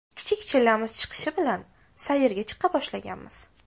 Kichik chillamiz chiqishi bilan sayrga chiqa boshlaganmiz.